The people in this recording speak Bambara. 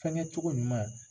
Fɛnkɛ cogo ɲuman.